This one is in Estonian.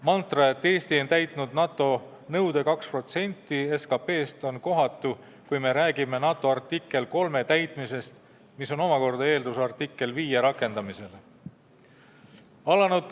Mantra, et Eesti on täitnud NATO nõude 2% SKP-st, on kohatu, kui räägime Põhja-Atlandi lepingu artikli 3 täitmisest, mis on omakorda eeldus artikli 5 rakendamisele.